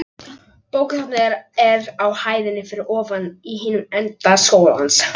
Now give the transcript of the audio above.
Bókasafnið er á hæðinni fyrir ofan í hinum enda skólans.